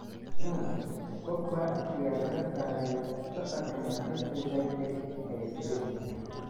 (Sun) Pogba ayaa laga saaray safarka Manchester United ee Spain.